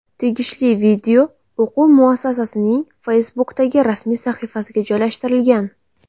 Tegishli video o‘quv muassasasining Facebook’dagi rasmiy sahifasiga joylashtirilgan.